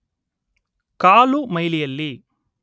ಕಾಲು ಮೈಲಿಯಲ್ಲಿ